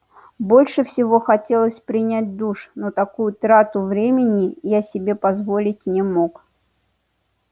больше всего хотелось принять душ но такую трату времени я себе позволить не мог